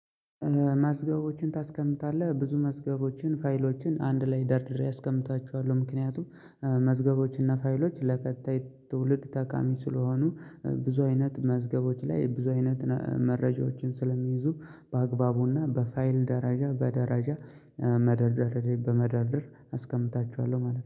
መዝገቦችን ታስቀምጣለህ ብዙ መዝገቦችን ፋይሎችን አንድ ላይ ደርድሬ አስቀምጣችኋለሁ ምክንያቱም መዝገቦችና ፋይሎች ለቀጣይ ትውልድ ጠቃሚ ስለሆኑ ብዙ አይነት መዝገቦች ላይ ብዙ አይነት መረጃዎችን ስለሚይዙ በአግባቡና በፋይል ደረጃ በደረጃ መደርደር በመደርደር አስቀምጣችኋለሁ ማለት ነው